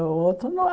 O outro